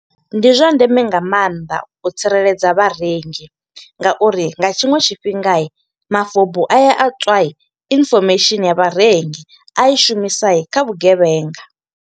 Ndi zwa ndeme nga maanḓa, u tsireledza vharengi nga uri nga tshiṅwe tshifhinga, mafobu aya a tswa infomesheni ya vharengi. A i shumisa kha vhugevhenga.